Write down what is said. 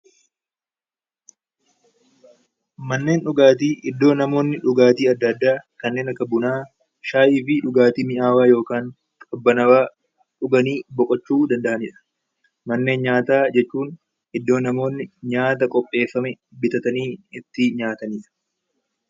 Manneen dhugaatii iddoo namoonni dhugaatii adda addaa kanneen akka Bunaa, Shaayii fi dhugaatii mi'aawaa yookaan qabbanaawaa dhuganii boqochuu danda'anii dha. Manneen nyaataa jechuun iddoo namoonni nyaata qopheeffame bitatanii itti nyaatani dha.